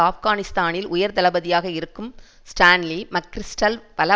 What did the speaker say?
ஆப்கானிஸ்தானில் உயர் தளபதியாக இருக்கும் ஸ்டான்லி மக்கிரிஸ்டல் பல